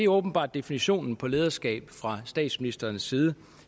åbenbart definitionen på lederskab fra statsministerens side